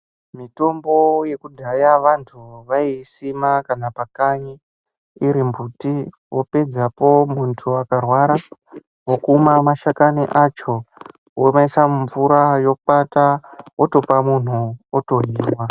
Mitombo yekudhaya vanhu vaiisima kana pakanyi iri mbuti vopedzapo munhu akarwara vokuma mashakani acho omaisa mumvura otokwata otopa munhu otohinwa.